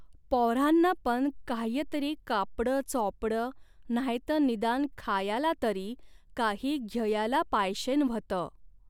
पॉऱ्हान्ना पन काह्यतरी कापडंचॉपडं नाह्यतं निदान खायाला तरी काही घ्ययाला पायशेन व्हतं.